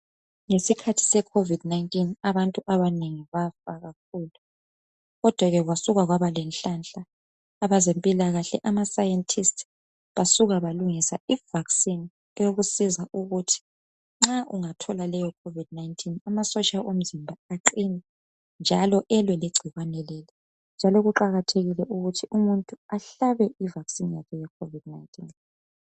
Ngesikhathi seCovid 19 abantu abanengi bafa kakhulu kodwa ke kwasuka kwaba lenhlanhla abezempilakahle amasayentisti basuka balungisa ivaccine eyokusiza ukuthi nxa ungathola leyo covid 19 amasotsha omzimba aqine njalo elwe legcikwane njalo kuqakathekile ukuthi umuntu ahlabe ivaccine yakhe yecovid 19